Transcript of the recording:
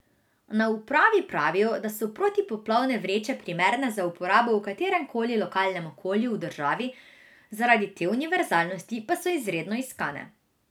Na upravi pravijo, da so protipoplavne vreče primerne za uporabo v katerem koli lokalnem okolju v državi, zaradi te univerzalnosti pa so izredno iskane.